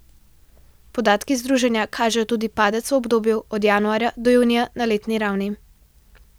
Podatki združenja kažejo tudi padec v obdobju od januarja do junija na letni ravni.